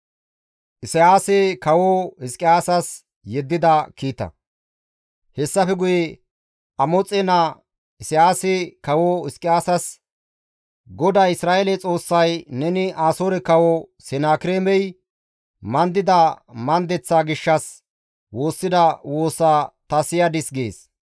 Hessafe guye Amoxe naa Isayaasi kawo Hizqiyaasasi, «GODAY Isra7eele Xoossay, ‹Neni Asoore Kawo Senakireemey mandida mandeththa gishshas woossida woosaa ta siyadis› gees.